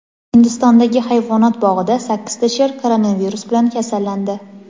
Hindistondagi hayvonot bog‘ida sakkizta sher koronavirus bilan kasallandi.